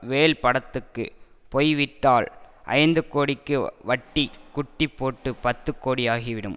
வேல் படத்துக்கு போய் விட்டால் ஐந்து கோடிக்கு வட்டி குட்டி போட்டு பத்து கோடியாகிவிடும்